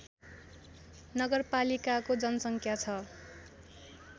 नगरपालिकाको जनसङ्ख्या छ